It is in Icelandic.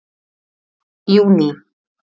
júní